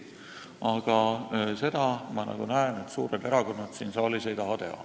Aga seda, nagu ma näen, suured erakonnad siin saalis ei taha teha.